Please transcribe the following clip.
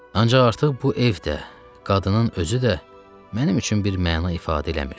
Ancaq artıq bu ev də, qadının özü də, mənim üçün bir məna ifadə eləmirdi.